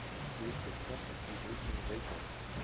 Hluti korts í bókinni Reykjavík.